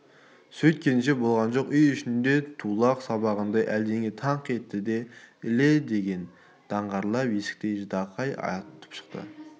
сөйткенше болған жоқ үй ішінде тулақ сабағандай әлдене таңқ етті де іле леген даңғырлап есіктен ждақай атқып шықты